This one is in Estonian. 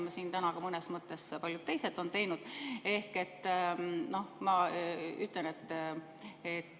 Siin täna mõnes mõttes on ka paljud teised seda teinud.